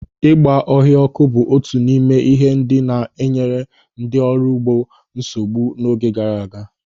Ịgba ọhịa ọ́kụ́ bụ otu n'ime ihe ndị na-enyere ndị ọrụ ugbo nsogbu n'oge gara aga.